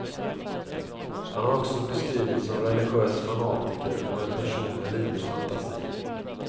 Han har också beskrivits som religös fanatiker och en person med livlig fantasi.